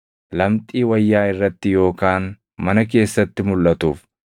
lamxii wayyaa irratti yookaan mana keessatti mulʼatuuf,